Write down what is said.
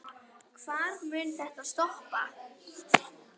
Hvar mun þetta stoppa?